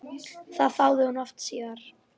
Það þáði hún oft síðar.